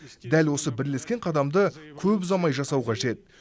дәл осы бірлескен қадамды көп ұзамай жасау кажет